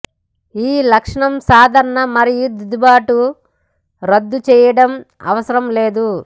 ఈ లక్షణం సాధారణ మరియు దిద్దుబాటు రద్దుచేయడం అవసరం లేదు